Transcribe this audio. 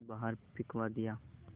बाहर फिंकवा दिया